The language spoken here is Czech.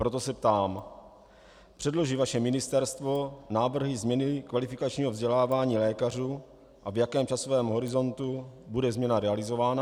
Proto se ptám: Předloží vaše ministerstvo návrhy změny kvalifikačního vzdělávání lékařů a v jakém časovém horizontu bude změna realizována?